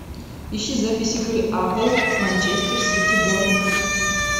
ищи запись игры апл манчестер сити борнмут